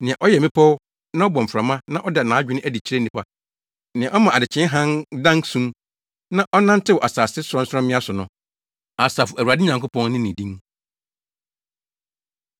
Nea ɔyɛ mmepɔw na ɔbɔ mframa na ɔda nʼadwene adi kyerɛ nnipa, nea ɔma adekyee hann dan sum na ɔnantew asase sorɔnsorɔmmea so no. Asafo Awurade Nyankopɔn ne ne din.